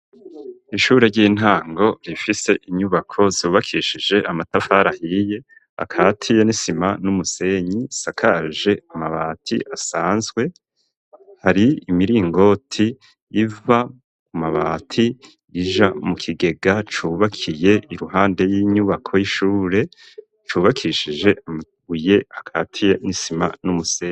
Ishure ry'intango rifise inyubako zubakishije amatafarahiye akatiye nisima n'umusenyi sakaje amabati asanzwe hari imiringoti iva ku mabati rija mu kigega cubakiye iruhande y'inyubako y'ishure cubakishije amabuye akatiye n'isima n'umusenyi.